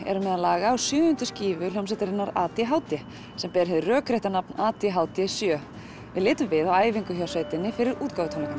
eru meðal laga á sjöundu skífu hljómsveitarinnar a d h d sem ber hið rökrétta nafn a d h d sjö við litum við á æfingu hjá sveitinni fyrir útgáfutónleikana